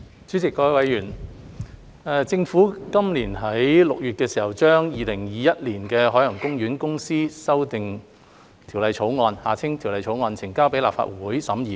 主席、各位議員，政府於今年6月將《2021年海洋公園公司條例草案》呈交立法會審議。